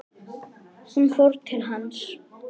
Hún fór til hans.